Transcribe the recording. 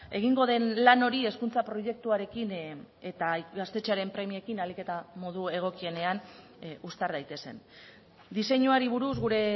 egingo den lan hori hezkuntza proiektuarekin eta gaztetxearen premiekin ahalik eta modu egokienean uztar daitezen diseinuari buruz gure